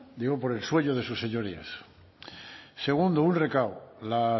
digo por el sueño de sus señorías segundo un recado la